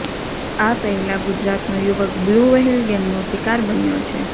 આ પેહલા ગુજરાતનો યુવક બ્લૂ વ્હેલ ગેમનો શિકાર બન્યો છે